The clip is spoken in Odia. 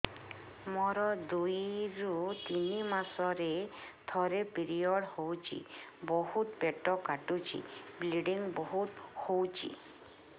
ମୋର ଦୁଇରୁ ତିନି ମାସରେ ଥରେ ପିରିଅଡ଼ ହଉଛି ବହୁତ ପେଟ କାଟୁଛି ବ୍ଲିଡ଼ିଙ୍ଗ ବହୁତ ହଉଛି